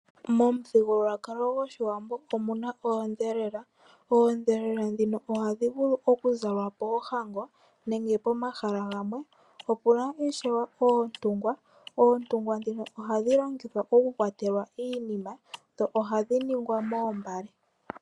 Momuthigululwakalo goshiwambo omuna oodhelela, odhelela dhika ohadhi vulu okuzalwa poohango nenge pomahala gamwe opuna ne ishewe oontungwa, oontungwa dhika ohadhi longithwa okukwatela iinima dho ohadhi ningwa moombale.